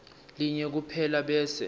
linye kuphela bese